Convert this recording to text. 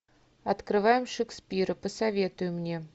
открываем шекспира посоветуй мне